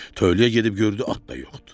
Tövləyə gedib gördü at da yoxdur.